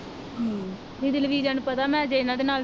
ਦੀਦੀ ਲਵਿਜਾ ਨੂੰ ਪਤਾ ਮੈ ਜੇ ਇਹਨਾਂ ਦੇ ਨਾਲ